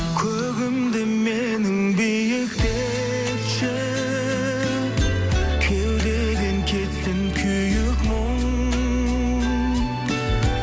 көгімді менің биіктетші кеудеден кетсін күйік мұң